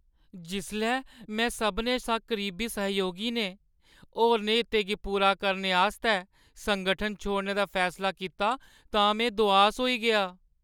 जिसलै मेरे सभनें शा करीबी सैहयोगी ने होरनें हितें गी पूरा करने आस्तै संगठन छोड़ने दा फैसला कीता तां में दुआस होई गेआ।